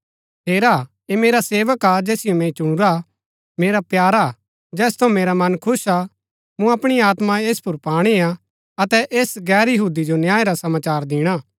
हेरा ऐह मेरा सेवक हा जैसिओ मैंई चुनुरा मेरा प्यारा हा जैस थऊँ मेरा मन खुश हा मूँ अपणी आत्मा ऐस पुर पाणी आ अतै ऐस गैर यहूदी जो न्याय रा समाचार दिणा